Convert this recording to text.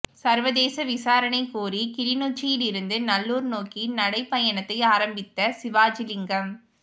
சர்வதேச விசாரணை கோரி கிளிநொச்சியில் இருந்து நல்லூர் நோக்கி நடைபயணத்தை ஆரம்பித்த சிவாஜிலிங்கம்